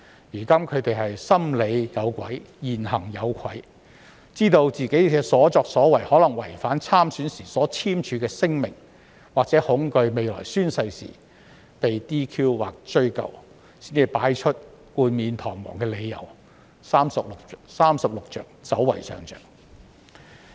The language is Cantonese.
現在，他們"心理有鬼，言行有愧"，知道自己的所作所為可能違反參選時簽署的聲明，或恐懼未來宣誓時會被 "DQ" 或追究，才提出冠冕堂皇的理由，"三十六着，走為上着"。